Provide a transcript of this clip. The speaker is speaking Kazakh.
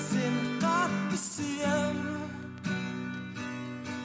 сені қатты сүйемін